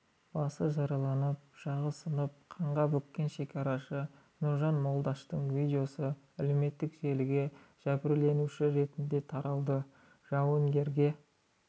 басы жарылып жағы сынып қанға бөккен шекарашы нұржан молдаштың видеосы әлеуметтік желіге жәбірленуші ретінде таралды жауынгерге